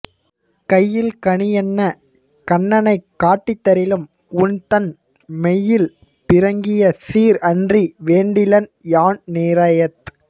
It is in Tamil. கையில் கனி என்னக் கண்ணனைக் காட்டித் தரிலும் உன் தன் மெய்யில் பிறங்கிய சீர் அன்றி வேண்டிலன் யான் நிரயத்